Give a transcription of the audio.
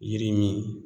Yiri min